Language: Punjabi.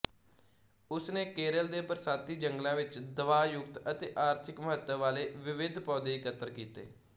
ਉਸਨੇ ਕੇਰਲ ਦੇ ਬਰਸਾਤੀ ਜੰਗਲਾਂ ਵਿੱਚ ਦਵਾਯੁਕਤ ਅਤੇ ਆਰਥਿਕ ਮਹੱਤਵ ਵਾਲੇ ਵਿਵਿਧ ਪੌਦੇ ਇਕੱਤਰ ਕੀਤੇ